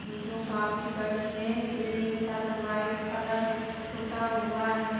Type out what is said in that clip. जो काफी बड़ी है। बिल्डिंग पर वाइट कलर पुता हुआ है।